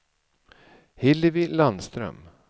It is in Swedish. Hillevi Landström